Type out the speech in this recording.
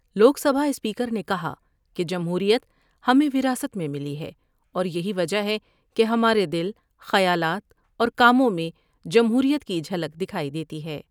لوک Sabha speaker نے کہا کہ جمہوریت ہمیں وراثت میں ملی ہے اور یہی وجہ ہے کہ ہمارے دل ، خیالات اور کاموں میں جمہوریت کی جھلک دکھائی دیتی ہے ۔